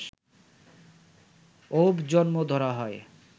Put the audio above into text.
অউব জন্ম ধরা হয়